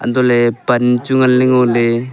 antoh ley pan chu ngan ley ngo ley.